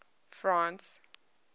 france